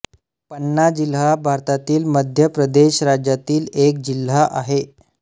पन्ना जिल्हा भारतातील मध्य प्रदेश राज्यातील एक जिल्हा आहे